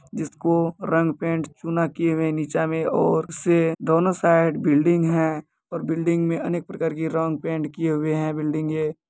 जिसको रंग पेंट चूना किये हुए नीचा में और से दोनों साइड बिल्डिंग है और बिल्डिंग में अनेक प्रकार की रंग पेंट किये हुए हैं। बिल्डिंगे --